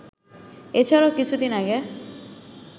এছাড়াও কিছুদিন আগে